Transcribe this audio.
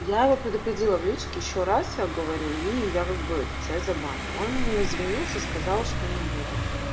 я его предупредила в личке ещё раз я говорю и я как бы это тебя заблокирую он извинился сказал что не будет